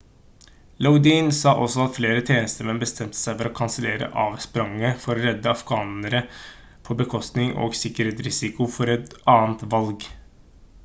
lodin sa også at flere tjenestemenn bestemte seg for å kansellere avspranget for å redde afghanere på bekostning og sikkerhetsrisiko for et annet valg